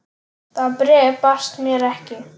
Það bréf barst mér ekki!